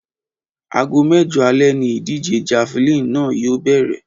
Aago mé̩jo̩ alé̩ ni ìdíje̩ javelin náà yóò bè̩rè̩